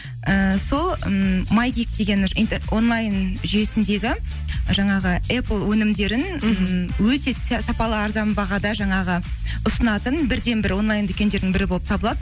ііі сол ммм деген онлайн жүйесіндегі жаңағы эпл өнімдерін ммм өте сапалы арзан бағада жаңағы ұсынатын бірден бір онлайн дүкендердің бірі болып табылады